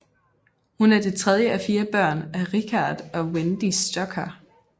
Hun er det tredje af fire børn af Richard og Wendy Stoker